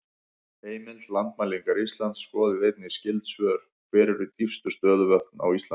Heimild: Landmælingar Íslands Skoðið einnig skyld svör: Hver eru dýpstu stöðuvötn á Íslandi?